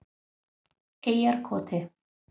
Eyjarkoti